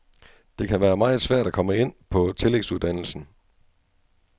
Det kan være meget svært at komme ind på tillægsuddannelsen.